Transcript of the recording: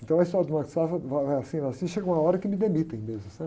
Então a história do Banco do Safra vai, vai assim, vai assim, chega uma hora que me demitem mesmo, sabe?